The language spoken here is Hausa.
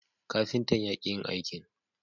Kafintan ya ki yin aikin